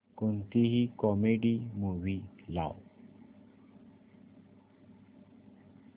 कोणतीही comedy movie लाव